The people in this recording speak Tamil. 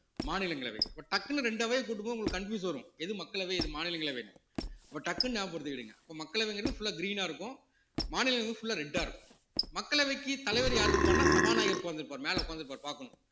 மாநிலங்களவை இப்ப டக்குன்னு ரெண்டு அவைய கூட்டும்போது உங்களுக்கு confuse வரும் எது மக்களவை எது மாநிலங்களவைன்னு அப்ப டக்குனு ஞாபகம் படுத்துக்கிடுங்க இப்ப மக்களவைங்கிறது full ஆ green ஆ இருக்கும் மாநிலங்கள் full ஆ red ஆ இருக்கும் மக்களவைக்கு தலைவர் யாரு இருப்பாருன்னா சபாநாயகர் உட்கார்ந்து இருப்பாரு மேல உட்கார்ந்து இருப்பாரு பார்க்கணும்